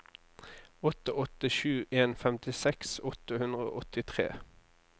åtte åtte sju en femtiseks åtte hundre og åttitre